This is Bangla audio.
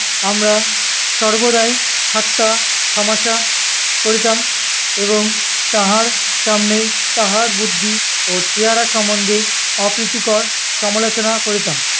আমরা সর্বদাই ঠাট্টাতামাশা করিতাম এবং তাহার সামনেই তাহার বুদ্ধি ও চেহারা সম্বন্ধে অপ্রীতিকর সমালোচনা করিতাম।